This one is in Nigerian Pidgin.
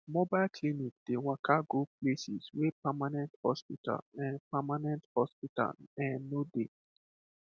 mobile clinic dey waka go places wey permanent hospital[um]permanent hospital[um]no dey